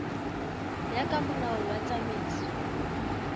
ya ka molao wa tsamaiso